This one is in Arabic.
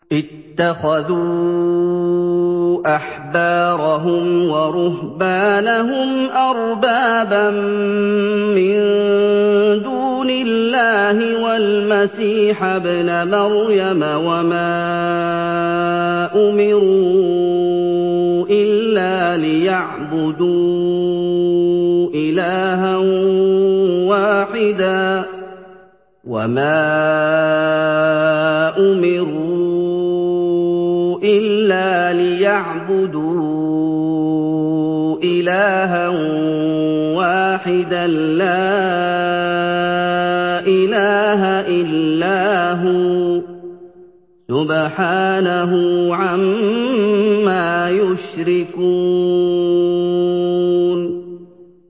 اتَّخَذُوا أَحْبَارَهُمْ وَرُهْبَانَهُمْ أَرْبَابًا مِّن دُونِ اللَّهِ وَالْمَسِيحَ ابْنَ مَرْيَمَ وَمَا أُمِرُوا إِلَّا لِيَعْبُدُوا إِلَٰهًا وَاحِدًا ۖ لَّا إِلَٰهَ إِلَّا هُوَ ۚ سُبْحَانَهُ عَمَّا يُشْرِكُونَ